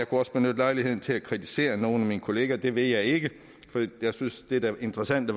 også benytte lejligheden til at kritisere nogle af mine kollegaer men det vil jeg ikke for jeg synes at det interessante